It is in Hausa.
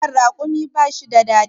nono rakumi ba shi da dadi